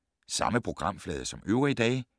Samme programflade som øvrige dage